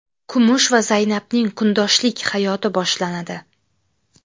Kumush va Zaynabning kundoshlik hayoti boshlanadi.